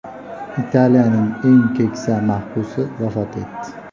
Italiyaning eng keksa mahbusi vafot etdi.